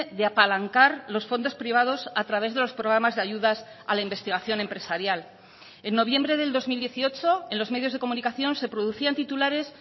de apalancar los fondos privados a través de los programas de ayudas a la investigación empresarial en noviembre del dos mil dieciocho en los medios de comunicación se producían titulares